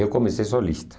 Eu comecei solista.